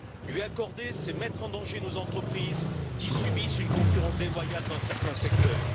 Lui accorder, c'est mettre en danger nos entreprises qui subissent une concurrence déloyale dans certains secteurs.